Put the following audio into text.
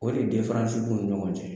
O de b'u ni ɲɔgɔn cɛ